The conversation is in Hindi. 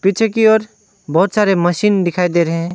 पीछे की ओर बहोत सारे मशीन दिखाई दे रहे--